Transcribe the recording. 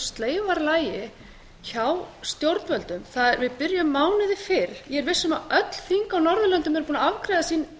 sleifarlagi hjá stjórnvöldum við byrjum mánuði fyrr ég er viss um að öll þing á norðurlöndum eru búin að afgreiða sín